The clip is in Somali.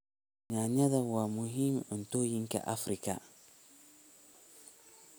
Yaanyada waa muhiim cuntooyinka Afrika.